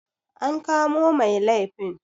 an kamo Mai liafin?